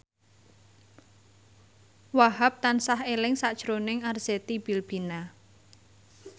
Wahhab tansah eling sakjroning Arzetti Bilbina